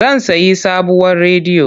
Zan sayi sabuwar rediyo.